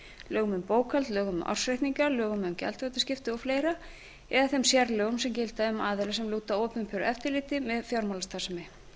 lögum um bókhald lögum um ársreikninga lögum um gjaldþrotaskipti o fl eða þeim sérlögum sem gilda um aðila sem lúta opinberu eftirliti með fjármálastarfsemi